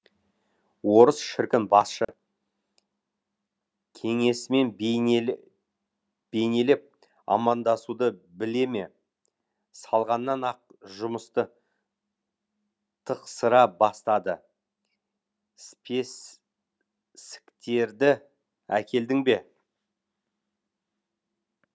орыс шіркін басшы кеңесімен бейнелеп амандасуды біле ме салғаннан ақ жұмысты тықсыра бастады спесіктерді әкелдің бе